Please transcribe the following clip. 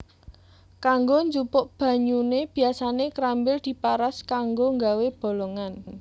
Kanggo njupuk banyune biasane krambil diparas kanggo gawé bolongan